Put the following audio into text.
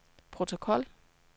protokol